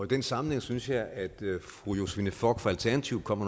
den sammenhæng synes jeg at fru josephine fock fra alternativet kom